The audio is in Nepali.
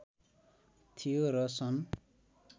थियो र सन्